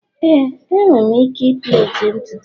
Éè, m nwere ike plait ntutu.